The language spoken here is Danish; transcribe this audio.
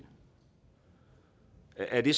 er det